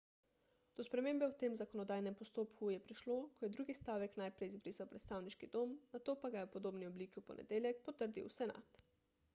do spremembe v tem zakonodajnem postopku je prišlo ko je drugi stavek najprej izbrisal predstavniški dom nato pa ga je v podobni obliki v ponedeljek potrdil senat